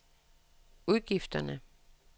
udgifterne